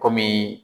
Kɔmi